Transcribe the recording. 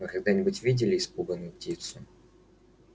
вы когда-нибудь видели испуганную птицу